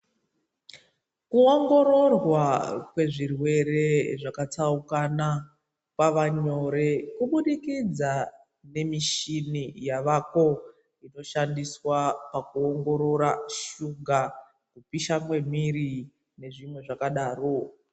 Kuongororwa kwezvirwere zvakatsaukana kwavanyore kubudikidza ngemishini yavako inoshindiswa pakuongorora shuga, kupisha kwemiri nezvimwe zvakadaro.